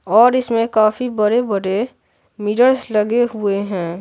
और इसमें काफी बड़े-बड़े मिरर्स लगे हुए हैं।